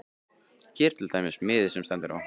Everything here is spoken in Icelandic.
Hér er til dæmis miði sem á stendur